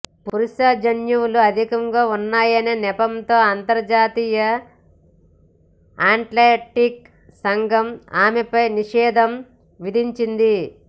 పురుష జన్యు వులు ఆధికంగా ఉన్నా యనే నెపంతో అంతర్జాతీయ అథ్లె టిక్స్ సంఘం ఆమెపై నిషేధం విధిం చింది